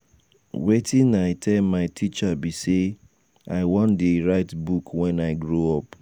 wetin i tell my teacher be say i wan dey write book wen i grow up.